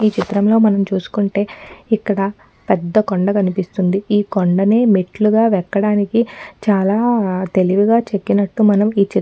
ఈ చిత్రంలో మనం చూసుకుంటే ఇక్కడ పెద్ద కొండ కనిపిస్తుంది ఈ కొండనే మెట్లుగా అవి ఎక్కడానికి చాలా తెలివిగా చెక్కినట్లు మనం ఈచిత్రం --